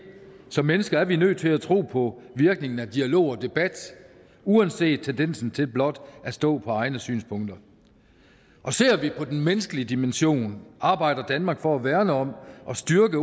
som mennesker er vi nødt til at tro på virkningen af dialog og debat uanset tendensen til blot at stå på egne synspunkter ser vi på den menneskelige dimension arbejder danmark for at værne om og styrke